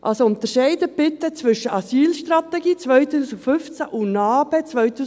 Also: Unterscheiden Sie bitte zwischen Asylstrategie 2015 und NA-BE 2017.